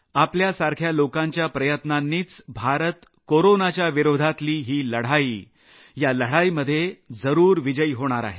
आपल्यासारख्या लोकांच्या प्रयत्नांनीच भारत कोरोनाच्या विरोधातली ही लढाईमध्ये जरूर जिकणार आहे